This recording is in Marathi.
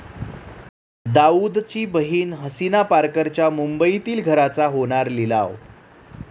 दाऊदची बहीण हसीना पारकरच्या मुंबईतील घराचा होणार लिलाव